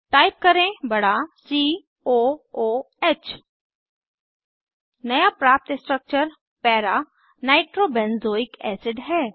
type करें बड़ा C O O H नया प्राप्त स्ट्रक्चर para नाइट्रोबेंजोइक एसिड है